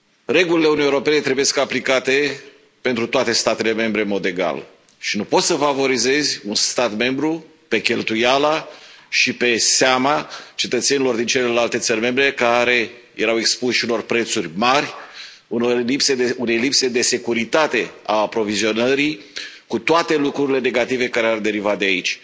Regulile Uniunii Europene trebuie aplicate pentru toate statele membre, în mod egal, și nu poți să favorizezi un stat membru pe cheltuiala și pe seama cetățenilor din celelalte țări membre, care erau expuși unor prețuri mari, unei lipse de securitate a aprovizionării, cu toate lucrurile negative care ar deriva de aici.